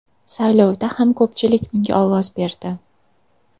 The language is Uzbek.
Saylovda ham ko‘pchilik unga ovoz berdi.